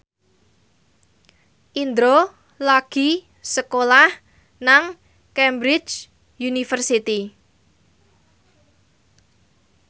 Indro lagi sekolah nang Cambridge University